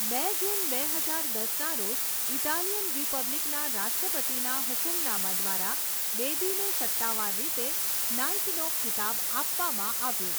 બે જૂન બે હજાર દસના રોજ ઇટાલિયન રિપબ્લિકના રાષ્ટ્રપતિના હુકમનામા દ્વારા, બેદીને સત્તાવાર રીતે નાઈટનો ખિતાબ આપવામાં આવ્યો.